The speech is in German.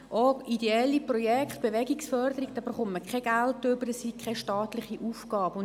Auch für ideelle Projekte, etwa zur Bewegungsförderung, erhält man kein Geld, weil das keine staatliche Aufgabe sei.